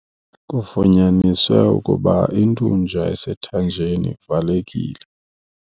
Kufunyaniswe ukuba intunja esethanjeni ivalekile.